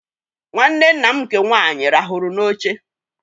Nwanne nne m nke nwaanyị ràhụrụ n'oche